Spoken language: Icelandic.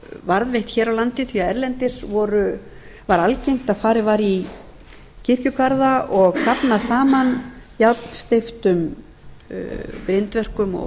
varðveitt hér á landi því að erlendis var algengt að farið væri í kirkjugarða og safnað saman járnsteyptum grindverkum og